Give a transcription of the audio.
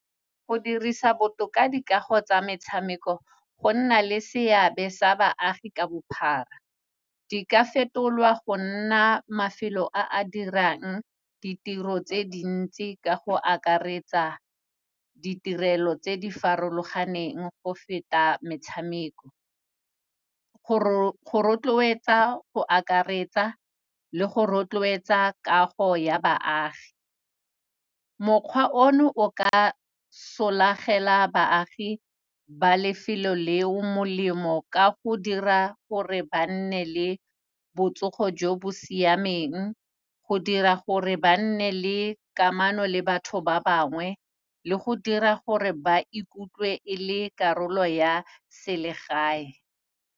Go dirisa botoka dikago tsa metshameko go nna le seabe sa baagi ka bophara. Di ka fetolwa go nna mafelo a a dirang ditiro tse dintsi ka go akaretsa ditirelo tse di farologaneng go feta metshameko, go rotloetsa go akaretsa le go rotloetsa kago ya baagi. Mokgwa o no, o ka solagela baagi ba lefelo le o molemo, ka go dira gore ba nne le botsogo jo bo siameng, go dira gore ba nne le kamano le batho ba bangwe le go dira gore ba ikutlwe e le karolo ya selegae.